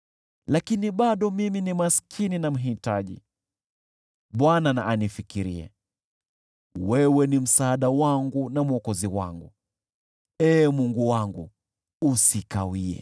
Lakini bado mimi ni maskini na mhitaji; Bwana na anifikirie. Wewe ndiwe msaada wangu na Mwokozi wangu; Ee Mungu wangu, usikawie.